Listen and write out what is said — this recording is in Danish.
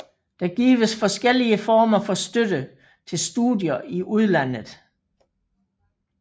Det gives forskellige former for støtte til studier i udlandet